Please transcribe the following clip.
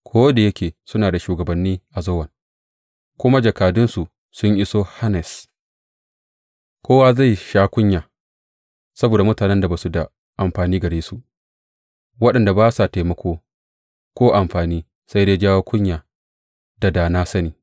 Ko da yake suna da shugabanni a Zowan kuma jakadunsu sun iso Hanes, kowa zai sha kunya saboda mutanen da ba su da amfani gare su, waɗanda ba sa taimako ko amfani, sai dai jawo kunya da da na sani.